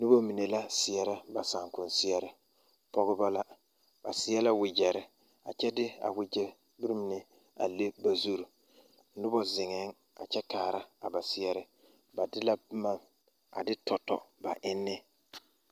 Noba mine la seɛrɛ ba saakomseɛre pɔgeba la ba seɛ la wagyɛre kyɛ de a wagyɛre mine a le ba zuri noba zeŋɛɛŋ a kyɛ kaara ba seɛre ba de la boma a de tɔ tɔ ba enne.